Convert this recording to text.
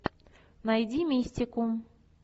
найди мистику